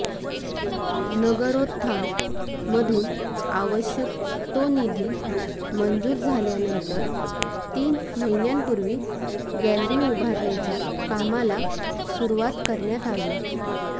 नगरोत्थान मधून आवश्यक तो निधी मंजूर झाल्यानंतर तीन महिन्यांपूर्वी गॅलरी उभारण्याच्या कामाला सुरवात करण्यात आली